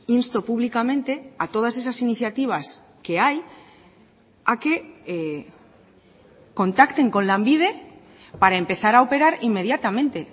insto públicamente a todas esas iniciativas que hay a que contacten con lanbide para empezar a operar inmediatamente